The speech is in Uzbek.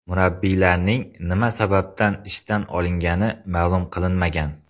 Murabbiylarning nima sababdan ishdan olingani ma’lum qilinmagan.